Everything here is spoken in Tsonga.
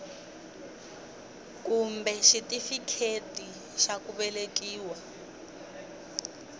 kumbe xitifiketi xa ku velekiwa